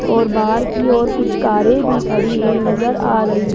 और बाहर की और कुछ कारे भी खड़ी हुई नजर आ रही--